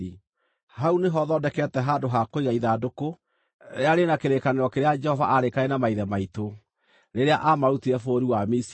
Hau nĩho thondekete handũ ha kũiga ithandũkũ rĩrĩa rĩ na kĩrĩkanĩro kĩrĩa Jehova aarĩkanĩire na maithe maitũ, rĩrĩa aamarutire bũrũri wa Misiri.”